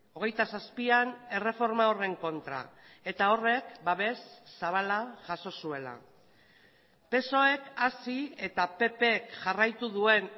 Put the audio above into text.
hogeita zazpian erreforma horren kontra eta horrek babes zabala jaso zuela psoek hasi eta ppk jarraitu duen